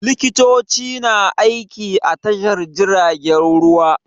Likitoci na aiki a Tashar jiragen ruwa.